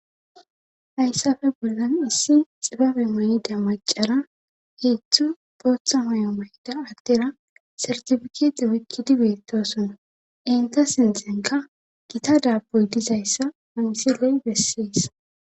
Hayssafe bollan issi xibabe may7ida macara heethzthu bootha may'o may'da addera sartifikite woykkidi beettoson enta sintzenka gita daaboy dizayssa mansiley bessees